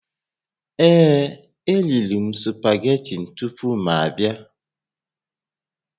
Ee, eriri m spageti tupu m abịa